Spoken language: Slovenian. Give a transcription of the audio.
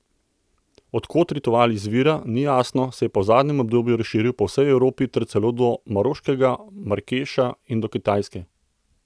Od kod ritual izvira, ni jasno, se je pa v zadnjem obdobju razširil po vsej Evropi ter celo do maroškega Marakeša in do Kitajske.